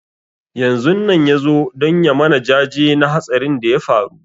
Yanzun nan ya zo don ya mana jaje na hatsarin da ya faru